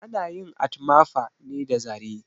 Ana yin atmafa ne da zare